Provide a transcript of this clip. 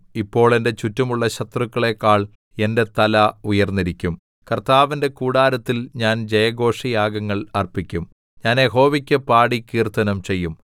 ഇപ്പോൾ എന്റെ ചുറ്റുമുള്ള ശത്രുക്കളേക്കാൾ എന്റെ തല ഉയർന്നിരിക്കും കർത്താവിന്റെ കൂടാരത്തിൽ ഞാൻ ജയഘോഷയാഗങ്ങൾ അർപ്പിക്കും ഞാൻ യഹോവയ്ക്ക് പാടി കീർത്തനം ചെയ്യും